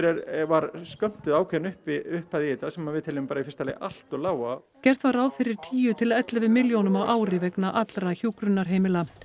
var skömmtuð ákveðin upphæð upphæð í þetta sem við teljum í fyrsta lagi allt of lága gert var ráð fyrir tíu til ellefu milljónum á ári vegna allra hjúkrunarheimila